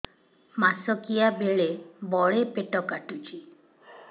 ମାସିକିଆ ବେଳେ ବଡେ ପେଟ କାଟୁଚି